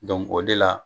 o de la